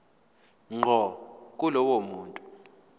ngqo kulowo muntu